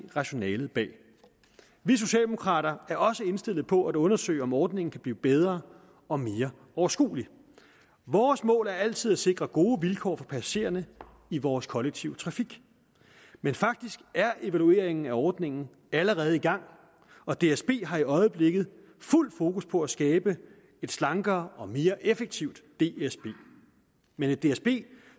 rationalet bag vi socialdemokrater er også indstillet på at undersøge om ordningen kan blive bedre og mere overskuelig vores mål er altid at sikre gode vilkår for passagererne i vores kollektive trafik men faktisk er evalueringen af ordningen allerede i gang og dsb har i øjeblikket fuld fokus på at skabe et slankere og mere effektivt dsb men et dsb